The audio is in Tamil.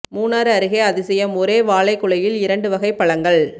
மூணாறு அருகே அதிசயம் ஒரே வாழை குலையில் இரண்டு வகை பழங்கள்